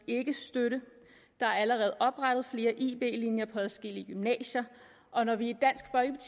ikke støtte der er allerede oprettet flere ib linjer på adskillige gymnasier og når vi